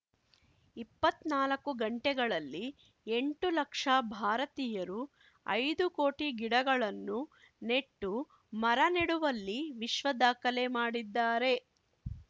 ಇಪ್ಪತ್ನಾಲ್ಕು ಗಂಟೆಗಳಲ್ಲಿ ಎಂಟು ಲಕ್ಷ ಭಾರತೀಯರು ಐದು ಕೋಟಿ ಗಿಡಗಳನ್ನು ನೆಟ್ಟು ಮರ ನೆಡುವಲ್ಲಿ ವಿಶ್ವ ದಾಖಲೆ ಮಾಡಿದ್ದಾರೆ